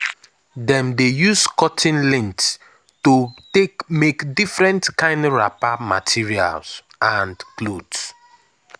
dem dey use cotton lint to take make different kind wrapper material and clothes.